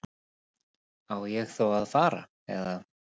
Á ég þá að fara. eða?